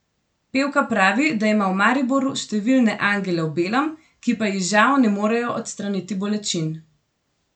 Pevka pravi, da ima v Mariboru številne angele v belem, ki pa ji žal ne morejo odstraniti bolečin.